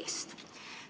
eest.